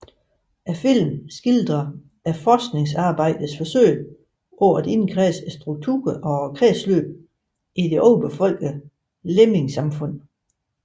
Filmen skildrer forskningsarbejdets forsøg på at indkredse strukturen og kredsløbet i det overbefolkede lemmingesamfund